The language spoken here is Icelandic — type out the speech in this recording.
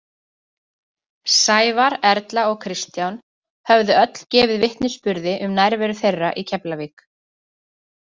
Sævar, Erla og Kristján höfðu öll gefið vitnisburði um nærveru þeirra í Keflavík.